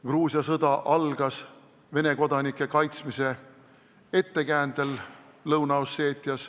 Gruusia sõda algas Lõuna-Osseetias Vene kodanike kaitsmise ettekäändel.